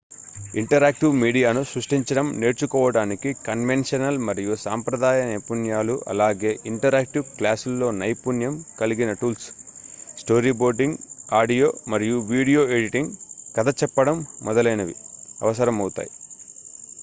interactive మీడియాను సృష్టించడం నేర్చుకోవటానికి కన్వెన్షనల్ మరియు సాంప్రదాయ నైపుణ్యాలు అలాగే ఇంటరాక్టివ్ క్లాసుల్లో నైపుణ్యం కలిగిన టూల్స్ స్టోరీబోర్డింగ్ ఆడియో మరియు వీడియో ఎడిటింగ్ కథ చెప్పడం మొదలైనవి అవసరమవుతాయి